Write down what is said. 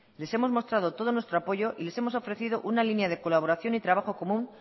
le hemos mostrado todo nuestro apoyo y les hemos ofrecido una línea de colaboración y trabajo común